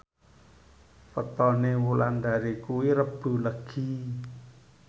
wetone Wulandari kuwi Rebo Legi